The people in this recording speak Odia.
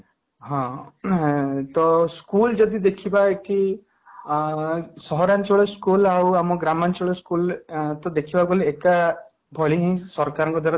ହଁ, ହୁଁ school ଯଦି ଦେଖିବା କି ଅଂ ସହରାଞ୍ଚଳ school ଆଉ ଆମ ଗ୍ରାମାଞ୍ଚଳ school ତ ଦେଖିବାକୁ ଗଲେ ଏକ ଭଳି ହିଁ ସରକାର ଙ୍କ ଦ୍ୱାରା